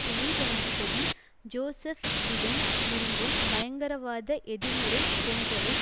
துணை ஜனாதிபதி Joseph Biden விரும்பும் பயங்கரவாத எதிர் முறை போன்றவை